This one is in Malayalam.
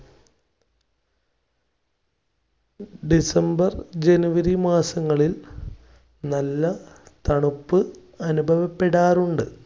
December -january മാസങ്ങളിൽ നല്ല തണുപ്പ് അനുഭവപ്പെടാറുണ്ട്.